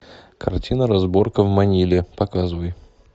картина разборка в маниле показывай